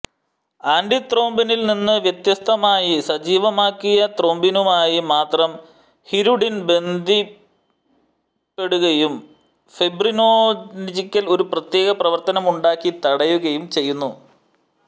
ആന്റിത്രോംബിനിൽ നിന്ന് വ്യത്യസ്തമായി സജീവമാക്കിയ ത്രോംബിനുമായി മാത്രം ഹിരുഡിൻ ബന്ധിപ്പെടുകയും ഫൈബ്രിനോജനിൽ ഒരു പ്രത്യേക പ്രവർത്തനമുണ്ടാക്കി തടയുകയും ചെയ്യുന്നു